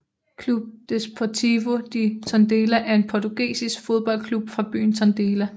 Clube Desportivo de Tondela er en portugisisk fodboldklub fra byen Tondela